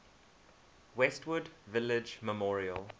westwood village memorial